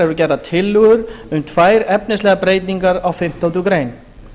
eru gerðar tillögur um tvær efnislegar breytingar á fimmtándu grein